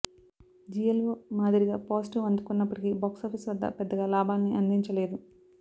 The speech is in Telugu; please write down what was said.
జిల్ ఓ మాధిరిగా పాజిటివ్ అందుకున్నప్పటికీ బాక్స్ ఆఫీస్ వద్ద పెద్దగా లాభాల్ని అందించలేదు